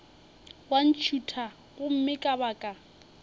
wa ntšhutha gomme ka baka